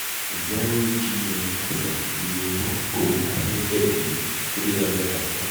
zero gm percent iye horo amẹ́jẹ̀dì three hundred and five